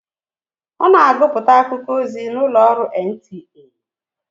Ọ na agụpụta akụkọ ozi n'ụlọ ọrụ NTA.